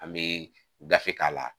An bɛ gafe k'a la